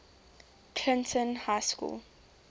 clinton high school